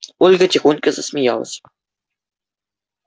ольга тихонько засмеялась